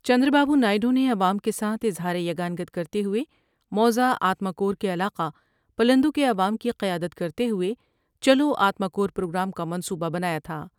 چند را با بونا سیڈو نے عوام کے ساتھ اظہار یگانگت کرتے ہوۓ موضع آتما کور کے علاقہ پلندو کے عوام کی قیادت کرتے ہوۓ چلو آتما کور پروگرام کا منصوبہ بنایا تھا ۔